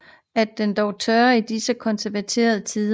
At den dog tør i disse konservative tider